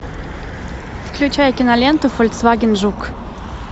включай киноленту фольксваген жук